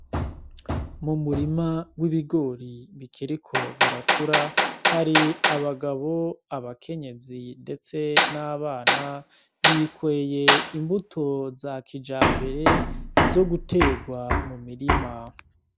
Mu murima w’ibigori bikiriko birakura hari abagabo, abakenyezi ndetse n’abana bikoreye imbuto za kijambere zo gutegwa mu mirima.